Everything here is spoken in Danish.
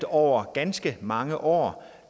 over ganske mange år